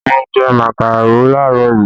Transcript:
Mo jẹ màkàró làárọ̀ yìí